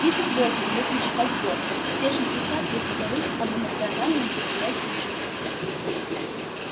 тридцать восемь если считать годы все шестьдесят если говорить об эмоциональном восприятии жизни